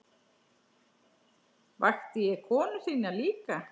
Vakti ég konu þína líka?